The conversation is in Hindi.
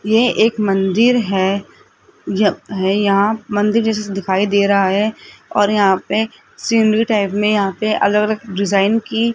ये एक मंदिर है ये यहां मंदिर जैसा दिखाई दे रहा है और यहां पर सीनरी टाइप में यहां पर अलग अलग डिजाइन की --